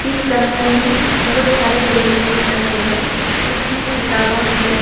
इस कमरे में बहोत सारे टेबल सिक रहे हैं उसमें खिताबां है।